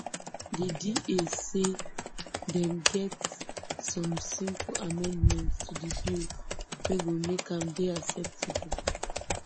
di da say dem get some simple amendments to di bill wey go make am dey acceptable